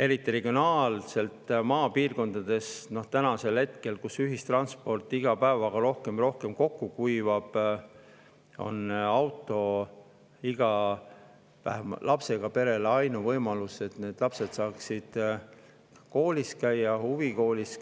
Eriti regionaalselt, maapiirkondades, kus ühistransport iga päevaga rohkem ja rohkem kokku kuivab, on auto vähemalt igale lapsega perele ainuke võimalus, et lapsed saaksid käia koolis, huvikoolis,